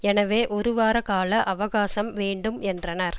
எனவே ஒருவார கால அவகாசம் வேண்டும் என்றனர்